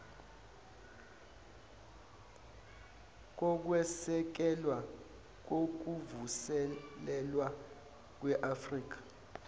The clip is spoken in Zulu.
kokwesekelwa kokuvuselelwa kweafrika